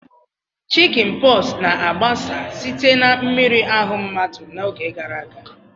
Chickinposu na-agbasa site na mmiri ahu mmadu n'oge gara aga.